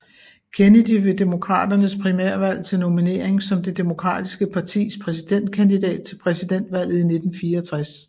Kennedy ved demokraternes primærvalg til nominering som det demokratiske partis præsidentkandidat til præsidentvalget i 1964